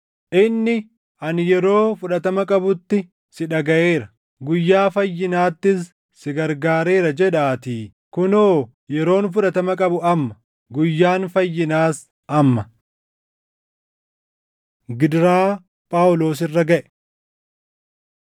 Inni, “Ani yeroo fudhatama qabutti si dhagaʼeera; guyyaa fayyinaattis si gargaareera” + 6:2 \+xt Isa 49:8\+xt* jedhaatii. Kunoo yeroon fudhatama qabu amma; guyyaan fayyinaas amma. Gidiraa Phaawulos Irra Gaʼe